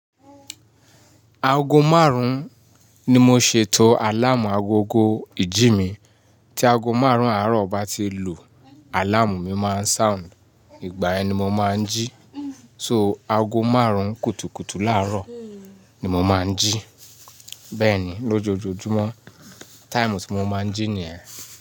Aago márùn-ún ni mo ṣètò àláàmù agogo ìjí mi. Tí aago márùn-ún àárọ̀ bá ti lu, àláàmù mi máa ṣoundi, ìgbà yẹn ni mo máa ń jí. So aago márùn-ún kùtùkùtù láàárọ̀ ni mo máa ń jí. Bẹ́ẹ̀ ni lójoojúmọ́ taimu tí mo máa ń jí ni yen.